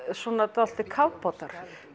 dálitlir kafbátar